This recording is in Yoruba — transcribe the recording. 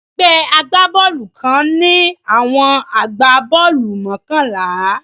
Egbé agbá-boolù kan ń ní àwọn agbá-boolù mokànlá